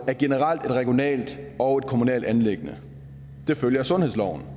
er generelt et regionalt og et kommunalt anliggende det følger af sundhedsloven